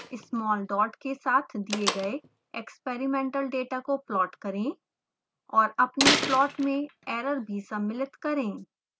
small dots के साथ दिए गए experimental data को प्लॉट करें